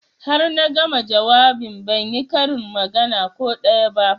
Har na gama jawabin ban yi karin magana ko daya ba